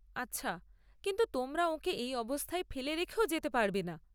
আচ্ছা, কিন্তু তোমরা ওঁকে এই অবস্থায় ফেলে রেখেও যেতে পারবেনা।